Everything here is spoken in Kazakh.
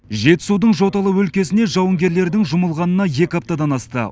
жетісудың жоталы өлкесіне жауынгерлердің жұмылғанына екі аптадан асты